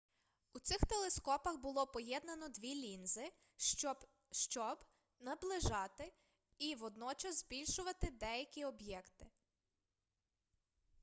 у цих телескопах було поєднано дві лінзи щоб щоб наближати і водночас збільшувати далекі об'єкти